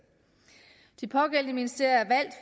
de pågældende ministerier